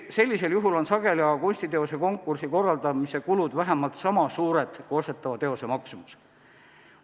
Sellisel juhul on sageli aga kunstiteose konkursi korraldamise kulud vähemalt sama suured kui ostetava teose maksumus.